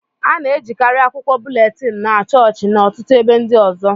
a na-ejikarị akwụkwọ búlétin na chọọchị na ọtụtụ ebe ndị ọzọ